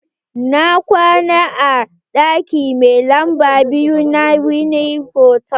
Na kwana a ɗaki mai lamba biyu na wine hotal.